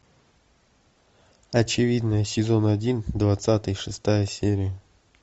очевидное сезон один двадцатый шестая серия